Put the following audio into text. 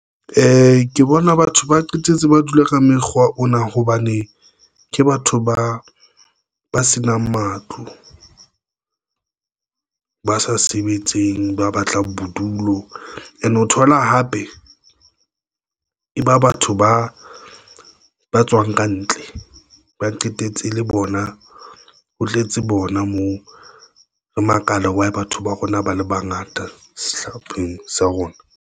Ke bona batho ba qetetse ba dule ka mekgwa ona hobane ke batho ba ba senang matlo, ba sa sebetseng, ba batlang bodulo and o thola hape e ba batho ba tswang kantle ba qetetse le bona. Ho tletse bona moo, re makala wa batho ba rona ba le bangata sehlopheng sa rona.